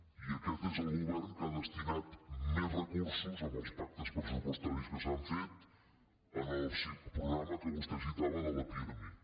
i aquest és el govern que ha destinat més recursos amb els pactes pressupostaris que s’han fet al programa que vostè citava de la pirmi